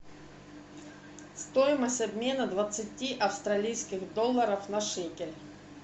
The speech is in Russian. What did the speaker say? стоимость обмена двадцати австралийских долларов на шекели